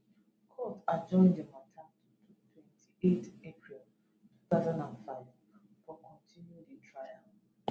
court adjourn di matter to twenty eight april 2025 to continue di trial